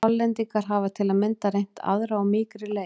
Hollendingar hafa til að mynda reynt aðra og mýkri leið.